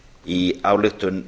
í ályktun